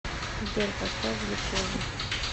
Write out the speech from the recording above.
сбер поставь глюкоза